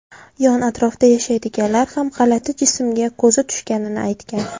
Yon-atrofda yashaydiganlar ham g‘alati jismga ko‘zi tushganini aytgan.